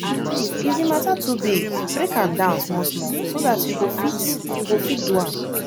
if di mata too big break am down small small so dat yu go fit yu go fit do am